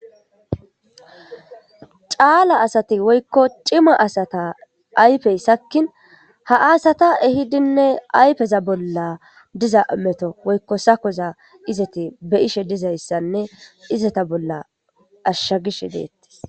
caala asati woykko cima asata ayfey sakkin ha asata ehidinne ayfeza bolla diza meto woykko sakoza izati be ishe dizayssanne izata bolla ashsha gish deetti